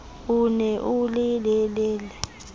o ne o le lelele